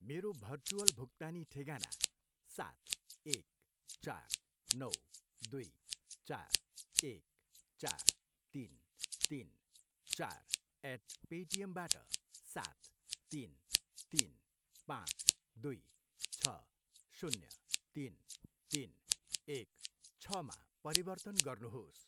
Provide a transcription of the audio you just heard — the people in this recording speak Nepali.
मेरो भर्चुअल भुक्तानी ठेगाना सात, एक, चार, नौ, दुई, चार, एक, चार, तिन, तिन, चार एट पेटिएमबाट सात, तिन, तिन, पाँच, दुई, छ, शून्य, तिन, तिन, एक, छमा परिवर्तन गर्नुहोस्